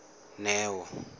neo